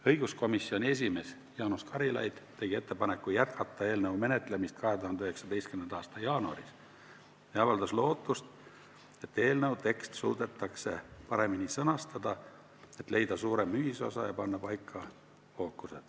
Õiguskomisjoni esimees Jaanus Karilaid tegi ettepaneku jätkata eelnõu menetlemist 2019. aasta jaanuaris ja avaldas lootust, et eelnõu tekst suudetakse paremini sõnastada, et leida suurem ühisosa ja panna paika fookus.